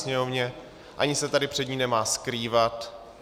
Sněmovně ani se tady před ní nemá skrývat.